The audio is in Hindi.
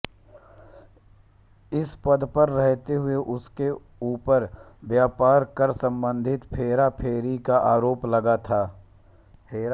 इस पद पर रहते हुए इनके ऊपर व्यापार कर सम्बन्धी हेराफेरी का आरोप लगा था